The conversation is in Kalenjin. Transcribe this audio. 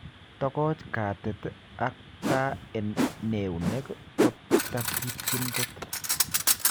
Tokoch katit ak taa en neunek kota kiityin kot.